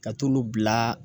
Ka t'olu bila